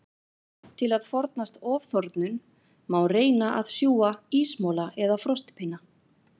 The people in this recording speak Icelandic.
Til að forðast ofþornun, má reyna að sjúga ísmola eða frostpinna.